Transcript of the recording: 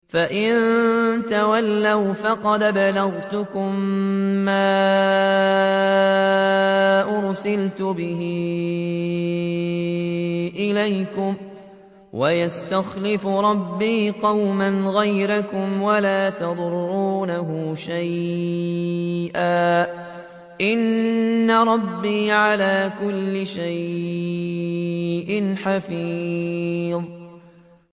فَإِن تَوَلَّوْا فَقَدْ أَبْلَغْتُكُم مَّا أُرْسِلْتُ بِهِ إِلَيْكُمْ ۚ وَيَسْتَخْلِفُ رَبِّي قَوْمًا غَيْرَكُمْ وَلَا تَضُرُّونَهُ شَيْئًا ۚ إِنَّ رَبِّي عَلَىٰ كُلِّ شَيْءٍ حَفِيظٌ